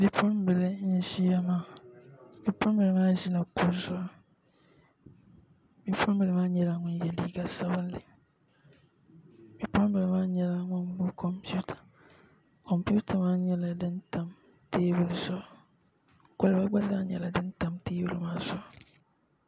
Bipuɣunbili n ʒiya maa bipuɣunbili maa ʒila kuɣu zuɣu bipuɣunbili maa nyɛla ŋun yɛ liiga sabinli bipuɣunbili maa nyɛla ŋun gbubi kompita kompita maa nyɛla din tam teebuli zuɣu kolba gba zaa nyɛla din tam teebuli maa zuɣu